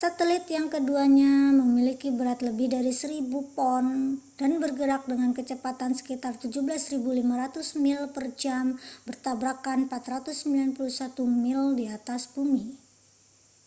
satelit yang keduanya memiliki berat lebih dari 1.000 pon dan bergerak dengan kecepatan sekitar 17.500 mil per jam bertabrakan 491 mil di atas bumi